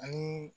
Ani